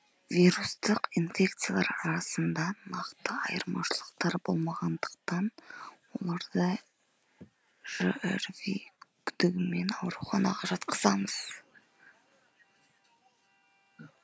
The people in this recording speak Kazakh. вирустық инфекциялар арасында нақты айырмашылықтар болмағандықтан оларды жрви күдігімен ауруханаға жатқызамыз